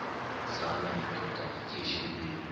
zala madoda yityesheleni